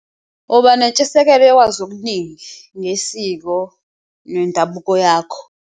Uba nentshisekelo yokwazi okuningi ngesiko nendabuko yakho.